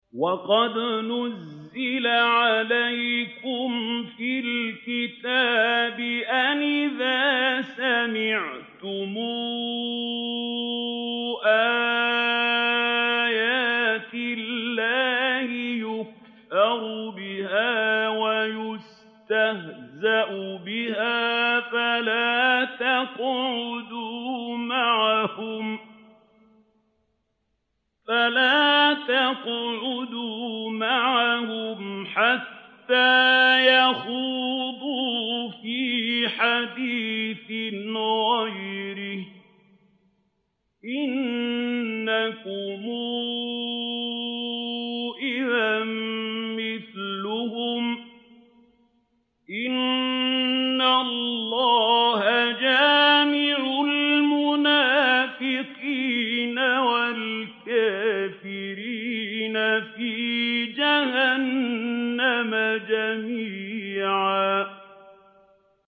وَقَدْ نَزَّلَ عَلَيْكُمْ فِي الْكِتَابِ أَنْ إِذَا سَمِعْتُمْ آيَاتِ اللَّهِ يُكْفَرُ بِهَا وَيُسْتَهْزَأُ بِهَا فَلَا تَقْعُدُوا مَعَهُمْ حَتَّىٰ يَخُوضُوا فِي حَدِيثٍ غَيْرِهِ ۚ إِنَّكُمْ إِذًا مِّثْلُهُمْ ۗ إِنَّ اللَّهَ جَامِعُ الْمُنَافِقِينَ وَالْكَافِرِينَ فِي جَهَنَّمَ جَمِيعًا